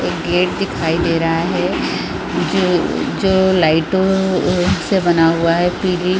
एक गेट दिखाई दे रहा है जो जो लाइटो से बना हुआ है पीली --